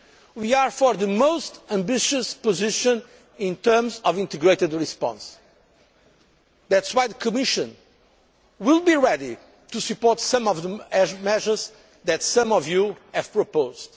We are for the most ambitious position in terms of integrated response. That is why the Commission will be ready to support some of the measures that some of you have proposed.